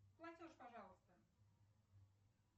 платеж пожалуйста